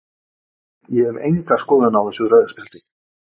Ég hef enga skoðun á þessu rauða spjaldi.